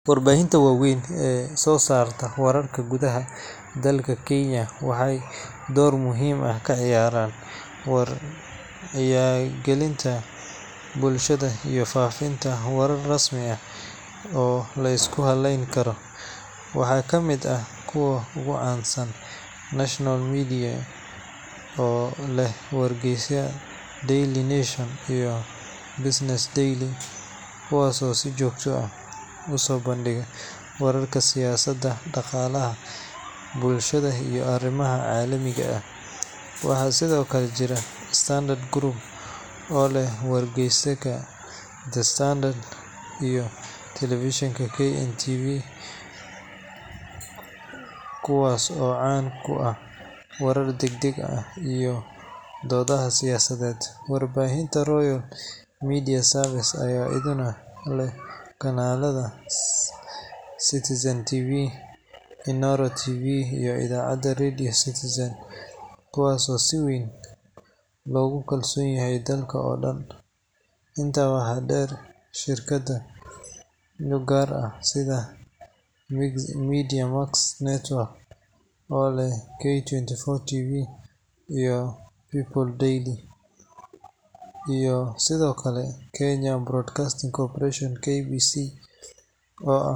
Warbaahinta waaweyn ee soo saarta wararka gudaha dalka Kenya waxay door muhiim ah ka ciyaaraan wacyigelinta bulshada iyo faafinta warar rasmi ah oo la isku halleyn karo. Waxaa ka mid ah kuwa ugu caansan Nation Media Group, oo leh wargeysyada Daily Nation iyo Business Daily, kuwaas oo si joogto ah u soo bandhiga wararka siyaasadda, dhaqaalaha, bulshada iyo arrimaha caalamiga ah. Waxaa sidoo kale jira Standard Group, oo leh wargeyska The Standard iyo telefishinka KTN News, kuwaas oo caan ku ah warar degdeg ah iyo doodaha siyaasadeed. Warbaahinta Royal Media Services ayaa iyaduna leh kanaalada Citizen TV, Inooro TV, iyo idaacadda Radio Citizen, kuwaas oo si weyn loogu kalsoon yahay dalka oo dhan. Intaa waxaa dheer, shirkado gaar ah sida Mediamax Network, oo leh K24 TV iyo People Daily, iyo sidoo kale Kenya Broadcasting Corporation (KBC) oo ah.